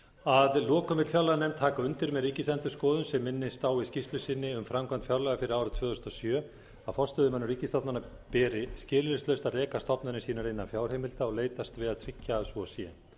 að lokum vill fjárlaganefnd taka undir með ríkisendurskoðun sem minnir á í skýrslu sinni um framkvæmd fjárlaga fyrir árið tvö þúsund og sjö að forstöðumönnum ríkisstofnana beri skilyrðislaust að reka stofnanir sínar innan fjárheimilda og leitast við að tryggja að svo sé